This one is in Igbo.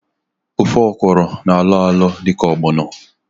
Ofe ọkwụrụ na-alọ alọ dịka ọgbọnọ